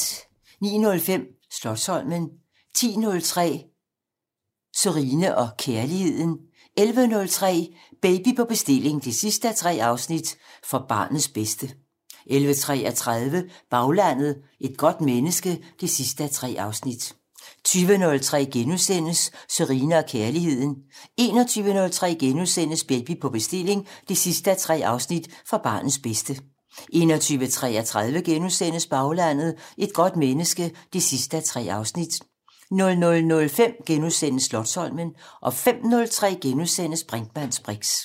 09:05: Slotsholmen 10:03: Sørine & Kærligheden 11:03: Baby på bestilling 3:3: For barnets bedste 11:33: Baglandet: Et godt menneske 3:3 20:03: Sørine & Kærligheden * 21:03: Baby på bestilling 3:3: For barnets bedste * 21:33: Baglandet: Et godt menneske 3:3 * 00:05: Slotsholmen * 05:03: Brinkmanns briks *